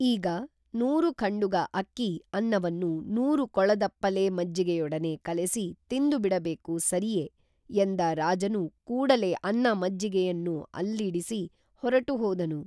ಈಗ ನೂರು ಖಂಡುಗ ಅಕ್ಕಿ ಅನ್ನವನ್ನು ನೂರು ಕೊಳದಪ್ಪಲೆ ಮಜ್ಜಿಗೆಯೊಡನೆ ಕಲೆಸಿ ತಿಂದುಬಿಡಬೇಕು ಸರಿಯೇ ಎಂದ ರಾಜನು ಕೂಡಲೇ ಅನ್ನ ಮಜ್ಜಿಗೆಯನ್ನು ಅಲ್ಲಿಡಿಸಿ ಹೊರಟು ಹೋದನು